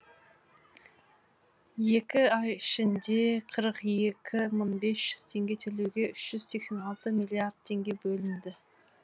екі ай ішінде қырық екі мың бес жүз теңге төлеуге үш жүз сексен алты миллиард теңге бөлінді